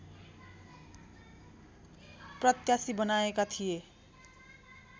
प्रत्याशी बनाएका थिए